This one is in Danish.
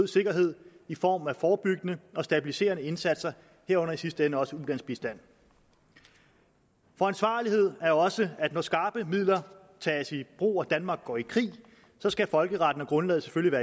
sikkerhed i form af forebyggende og stabiliserende indsatser herunder i sidste ende også ulandsbistand for ansvarlighed er også at når skarpe midler tages i brug og danmark går i krig så skal folkeretten og grundlaget selvfølgelig